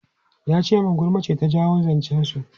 Ya ce min gulma ce ta jawo zancen su.